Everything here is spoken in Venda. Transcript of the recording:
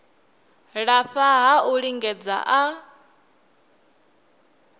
lafha ha u lingedza a